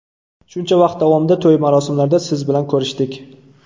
Shuncha vaqt davomida to‘y-marosimlarda siz bilan ko‘rishdik.